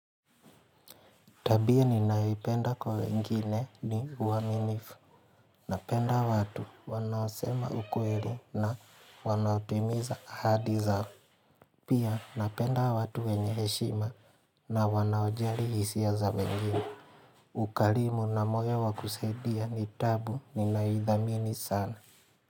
Tabia ninayoipenda kwa wengine ni uaminifu. Napenda watu wanaosema ukweli na wanautimiza ahadi zao. Pia napenda watu wenye heshima na wanaojari hisia za wengine. Ukarimu na moyo wa kusaidia ni tabu ninaidhamini sana.